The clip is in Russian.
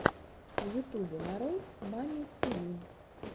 в ютубе нарой мамми тиви